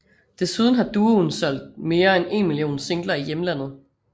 Desuden har duoen solgt mere end 1 million singler i hjemlandet